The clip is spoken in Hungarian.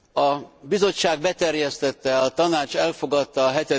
A Bizottság beterjesztette, a Tanács elfogadta a